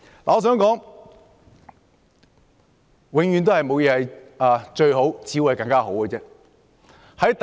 我想說，事情永遠沒有最好，只有更好。